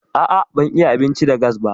A'a ban iya abinci da gas ba.